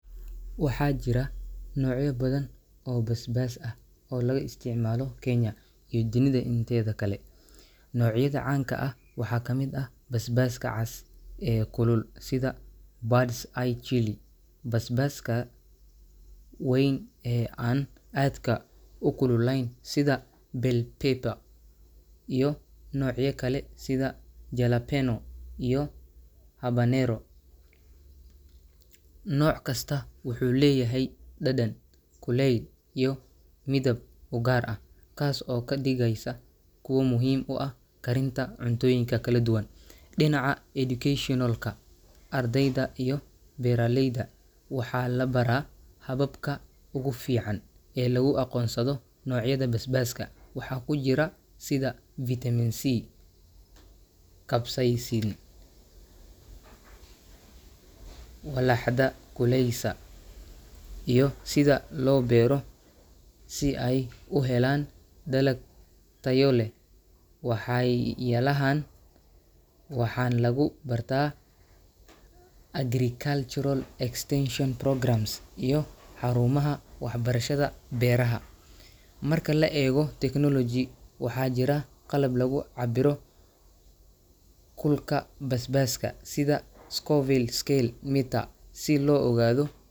Waxaa jira noocyo badan oo basbaas ah oo laga isticmaalo Kenya iyo dunida inteeda kale. Noocyada caanka ah waxaa ka mid ah basbaaska cas ee kulul sida Bird's Eye Chili, basbaaska weyn ee aan aadka u kululayn sida Bell Pepper, iyo noocyo kale sida Jalapeño iyo Habanero. Nooc kasta wuxuu leeyahay dhadhan, kulayl, iyo midab u gaar ah, taas oo ka dhigaysa kuwo muhiim u ah karinta cuntooyinka kala duwan. Dhinaca educational-ka, ardayda iyo beeraleyda waxaa la baraa hababka ugu fiican ee lagu aqoonsado noocyada basbaaska, waxa ku jira sida vitamin C, capsaicin (walaxda kululeysa), iyo sida loo beero si ay u helaan dalag tayo leh. Waxaay yyalahan waxan lagu barta agricultural extension programs iyo xarumaha waxbarashada beeraha. Marka la eego technology, waxaa jira qalab lagu cabbiro kulka basbaaska, sida Scoville scale meter, si loo ogaado.